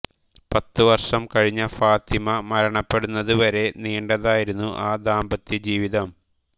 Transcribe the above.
പത്ത് വർഷം കഴിഞ്ഞ ഫാത്തിമ മരണപ്പെടുന്നത് വരെ നീണ്ടതായിരുന്നു ആ ദാമ്പത്ത്യ ജീവിതം